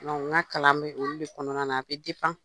N ka kalan b'olu de kɔnɔna na a bɛ